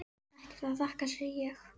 Ekkert að þakka, segi ég.